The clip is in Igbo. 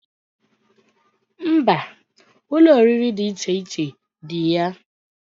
Mba, Ụlọ oriri di iche iche di ya